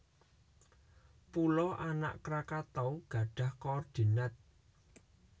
Pulo Anak Krakatau gadhah koordinat